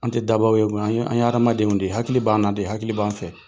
An ti dabaw ye koyi . An ye hadamadenw de ye hakili b'an na de. Hakili b'an fɛ.